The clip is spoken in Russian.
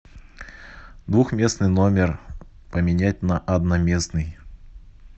двухместный номер поменять на одноместный